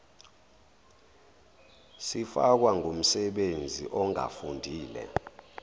sifakwa ngumsebenzi ongafundile